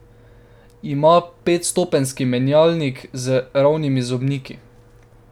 Ima petstopenjski menjalnik z ravnimi zobniki.